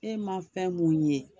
E ma fɛn mun ye,